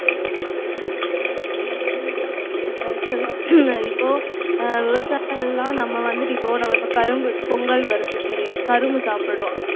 உம் ஆமா correct தான் இப்போ அஹ் விவசாயம் எல்லாம் நம்ம வந்துட்டு இப்போ நம்ம இப்போ கரும்பு பொங்கல் வருது சரியா கரும்பு சாப்பிடுறோம்